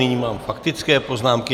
Nyní mám faktické poznámky.